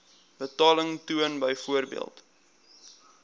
betaling toon byvoorbeeld